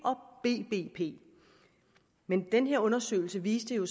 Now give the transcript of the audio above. og bbp men den her undersøgelse viste jo